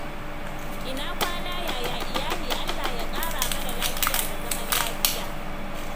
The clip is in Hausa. Ina kwana, yaya iyali? Allah ya ƙara mana lafiya da zaman lafiya.